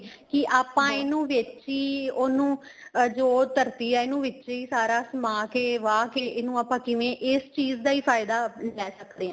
ਕੀ ਆਪਾਂ ਇਹਨੂੰ ਵੇਚੀਏ ਉਹਨੂੰ ਜੋ ਧਰਤੀ ਏ ਇਹਨੂੰ ਵਿਚੇ ਹੀ ਸਾਰਾ ਸਮਾਹ ਕੇ ਵਾਹ ਕੇ ਇਹਨੂੰ ਆਪਾਂ ਕਿਵੇਂ ਇਸ ਚੀਜ਼ ਦਾ ਹੀ ਫਾਇਦਾ ਲੇ ਸਕਦੇ ਹਾਂ